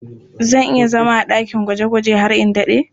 Zan iya zama a ɗakin gwaje-gwaje har in daɗe.